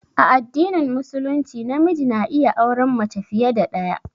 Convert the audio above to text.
A addinin Musulunci namiji na iya auran mace fiye da ɗaya.